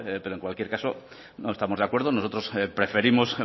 pero en cualquier caso no estamos de acuerdo nosotros preferimos